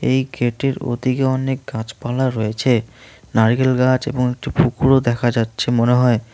এই ক্ষেতটির ওদিকে অনেক গাছপালা রয়েছে নারিকেল গাছ এবং একটি পুকুরও দেখা যাচ্ছে মনে হয়।